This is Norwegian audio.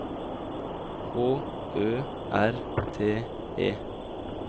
H Ø R T E